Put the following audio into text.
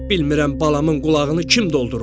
Bilmirəm balamın qulağını kim doldurub.